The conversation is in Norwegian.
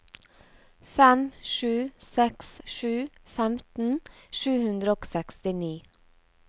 fem sju seks sju femten sju hundre og sekstini